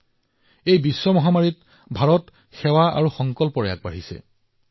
ভাৰতে এই গোলকীয় মহামাৰীৰ মাজত সেৱা আৰু সহযোগিতাৰ সংকল্প লৈ আগবাঢ়ি আহিছে